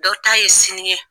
Dɔ ta ye sini ye